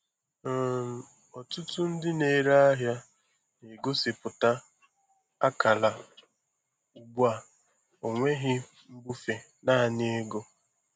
um Ọtụtụ ndị na-ere ahịa na-egosipụta akara ugbu a: "Ọnweghị mbufe, naanị ego."